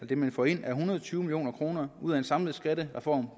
det man får ind er en hundrede og tyve million kroner ud af en samlet skattereform